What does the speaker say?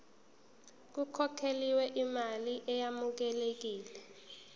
kukhokhelwe imali eyamukelekile